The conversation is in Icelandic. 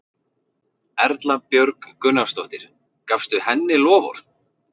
Erla Björg Gunnarsdóttir: Gafstu henni loforð?